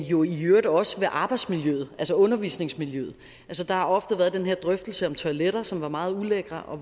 jo i øvrigt også ved arbejdsmiljøet altså undervisningsmiljøet der har ofte været den her drøftelse om toiletter som var meget ulækre